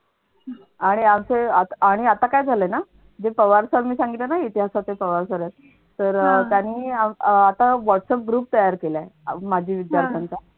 आणि आता काय झालंय ना जी पवार सरांनी सांगितलं ना इतिहासाचे पवार sir आहेत तर अह त्यांनी आता whatsapp group तयार केलाय. माजी विद्यार्थ्यांचा